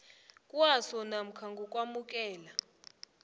kwaso namkha ngokwamukela